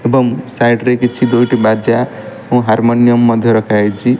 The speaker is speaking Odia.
ଏବଂ ସାଇଟ୍ କିଛି ଦୁଇଟି ବାଜା ଓ ହାରର୍ମୋନିଅମ୍ ମଧ୍ୟ ରଖା ଯାଇଛି।